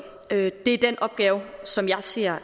det er den opgave som jeg ser